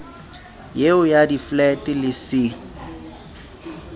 eo ya diflete le c